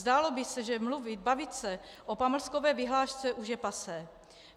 Zdálo by se, že mluvit, bavit se o pamlskové vyhlášce už je passé.